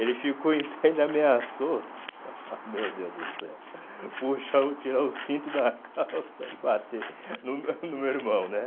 Ele ficou em pé e ainda ameaçou, meu Deus do céu, puxar o tirar o cinto da calça e bater no meu no meu irmão, né?